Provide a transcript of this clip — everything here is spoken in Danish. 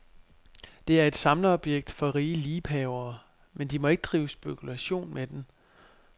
Det er et samlerobjekt for rige liebhavere, men de må ikke drive spekulation med den.